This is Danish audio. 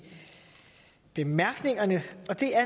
bemærkningerne og der